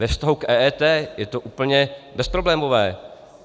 Ve vztahu k EET je to úplně bezproblémové.